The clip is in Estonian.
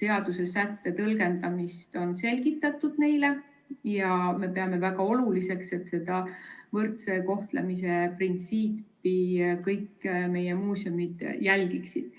seadusesätte tõlgendamist on neile selgitatud ja me peame väga oluliseks, et võrdse kohtlemise printsiipi kõik meie muuseumid järgiksid.